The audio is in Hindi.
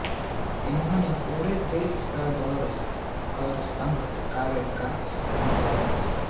उन्होंने पूरे देश का दौरा कर संघ कार्य का विस्तार किया